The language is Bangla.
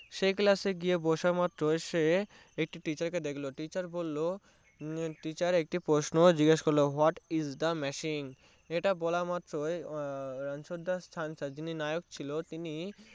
সেই Class এ গিয়ে বসা মাত্রই সে একটি Teacher কে দেখলো Teacher একটি পোষণ জিজ্ঞাসা করলো What is the machine ইটা বলা মাত্রই রানছর দাস ছাঁচের যিনি নায়ক ছিল তিনি